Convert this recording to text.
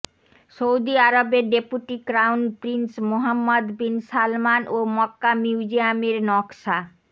Saudi আরবের deputy crown prince Mohammed bin Salman ও Mecca মিউজিয়ামের নকশা